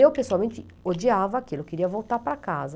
Eu, pessoalmente, odiava aquilo, queria voltar para casa.